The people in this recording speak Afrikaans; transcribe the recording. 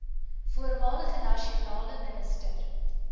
voormalige nasionale minister